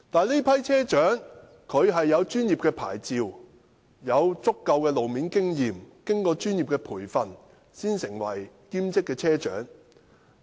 這批車長持有專業牌照，並具足夠的路面經驗，是經過專業培訓才成為兼職車長的。